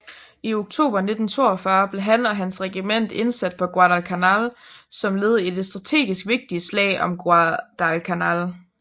I oktober 1942 blev han og hans regiment indsat på Guadalcanal som led i det strategisk vigtigte slag om Guadalcanal